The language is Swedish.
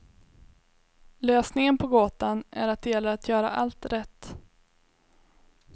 Lösningen på gåtan är att det gäller att göra allt rätt.